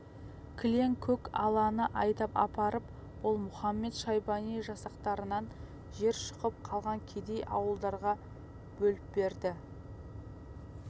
кілең көк аланы айдап апарып ол мұхамед-шайбани жасақтарынан жер шұқып қалған кедей ауылдарға бөліп берді